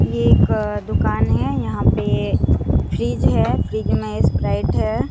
ये एक दुकान है यहां पे फ्रिज है फ्रिज में स्प्राइट है।